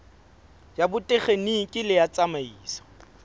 ya botekgeniki le ya tsamaiso